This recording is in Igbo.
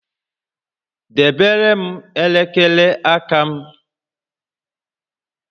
Debere m elekere aka m!